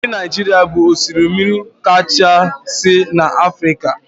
Osimiri Naija bụ osimiri kachasị n'Afrika